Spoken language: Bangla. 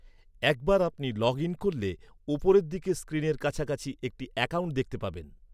একবার আপনি লগ ইন করলে, উপর দিকের স্ক্রিনের কাছাকাছি একটি অ্যাকাউন্ট দেখতে পাবেন।